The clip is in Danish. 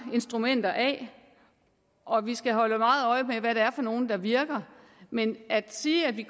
instrumenter af og vi skal holde meget øje med hvad det er for nogle der virker men at sige at vi